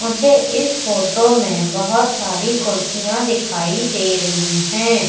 मुझे इस फोटो में बहोत सारी कुर्सियां दिखाई दे रही हैं।